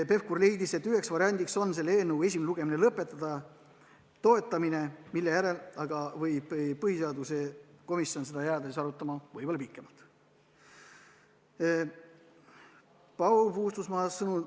Pevkur leidis, et üks variant on selle eelnõu esimese lugemise lõpetamine, mille järel aga võib põhiseaduskomisjon seda jääda pikemalt arutama.